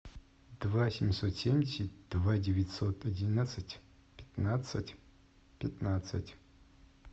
два семьсот семьдесят два девятьсот одиннадцать пятнадцать пятнадцать